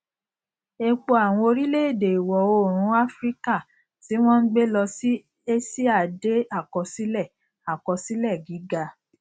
epo àwọn orílẹèdè ìwọ oòrùn áfíríkà ti won n gbe lọ sí aṣíà de akosile akosile giga